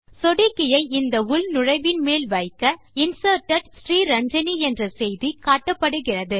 சொடுக்கியை இந்த உள்நுழைவின் மேல் வைக்க Inserted ஸ்ரீரஞ்சனி என்ற செய்தி காட்டப்படுகிறது